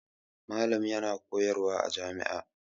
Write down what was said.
Malam yana koyarwa a jami'a.